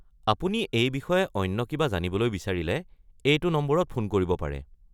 আপুনি এই বিষয়ে অন্য কিবা জানিবলৈ বিচাৰিলে এইটো নম্বৰত ফোন কৰিব পাৰে।